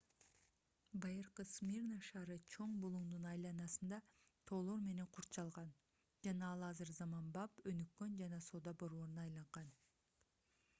байыркы смирна шаары чоң булуңдун айланасында тоолор менен курчалган жана ал азыр заманбап өнүккөн жана соода борборуна айланган